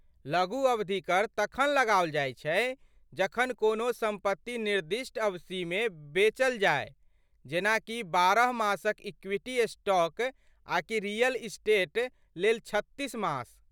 लघु अवधि कर तखन लगाओल जाइत छै जखन कोनो सम्पत्ति निर्दिष्ट अवधिमे बेचल जाय, जेना कि बारह मासक इक्वीटी स्टॉक आकि रियल इस्टेट लेल छत्तीस मास।